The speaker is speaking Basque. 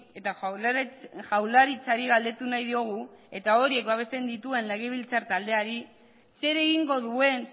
eta jaurlaritzari galdetu nahi diogu eta horiek babesten dituen legebiltzar taldeari zer egingo duen